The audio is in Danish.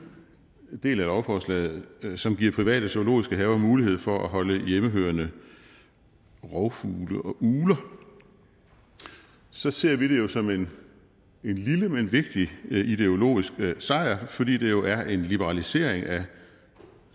del af lovforslaget som giver private zoologiske haver mulighed for at holde hjemmehørende rovfugle og ugler så ser vi det jo som en lille men vigtig ideologisk sejr fordi det jo er en liberalisering af